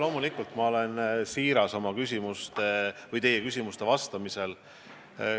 Loomulikult ma olen siiras teie küsimustele vastates.